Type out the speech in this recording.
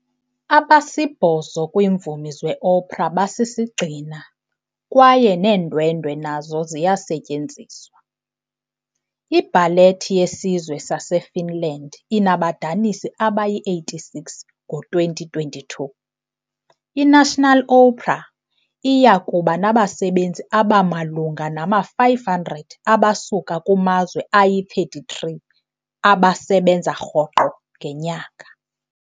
Abasibhozo kwiimvumi zeopera basisigxina, kwaye neendwendwe nazo ziyasetyenziswa. iBallet yeSizwe saseFinland inabadanisi abangama-86. Ngo-2022, iNational Opera iya kuba nabasebenzi abamalunga nama-550 abasuka kumazwe angama-33 abasebenza rhoqo ngenyanga.